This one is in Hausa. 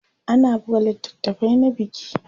ana buga littafai na biki